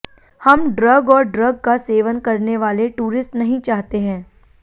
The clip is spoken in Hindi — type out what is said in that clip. हम ड्रग और ड्रग का सेवन करने वाले टूरिस्ट नहीं चाहते है